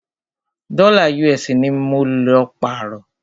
Dọ́là US ní mọ lọ pààrọ́.